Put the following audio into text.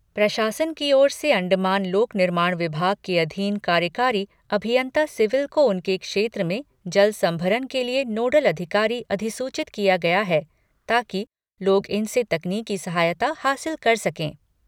प्रशासन की ओर से अंडमान लोक निर्माण विभाग के अधीन कार्यकारी अभियंता सिविल को उनके क्षेत्र में जल संभरन के लिए नोडल अधिकारी अधिसूचित किया गया है, ताकि लोग इनसे तकनीकी सहायता हासिल कर सके।